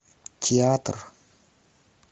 театр